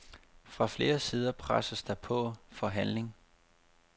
Fra flere sider presses der på for handling.